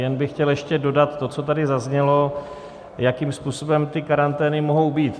Jen bych chtěl ještě dodat to, co tady zaznělo, jakým způsobem ty karantény mohou být.